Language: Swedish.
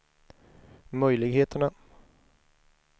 möjligheterna